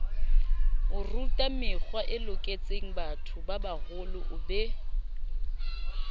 orutamekgwae loketsengbatho babaholo o be